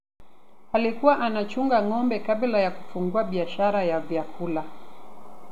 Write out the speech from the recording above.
alikuwa anachunga ng'ombe kabla ya kufungua biashara ya vyakula